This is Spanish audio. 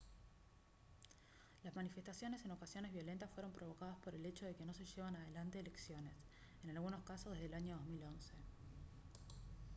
las manifestaciones en ocasiones violentas fueron provocadas por el hecho de que no se llevan adelante elecciones en algunos casos desde el año 2011